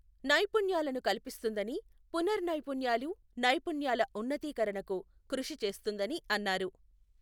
నైపుణ్యాలను కల్పిస్తుందని, పునర్ నైపుణ్యాలు, నైపుణ్యాల ఉన్నతీకరణకు కృషి చేస్తుందని అన్నారు.